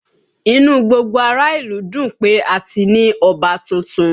Inú gbogbo ará ìlú ń dùn pé a ti ní Ọba tuntun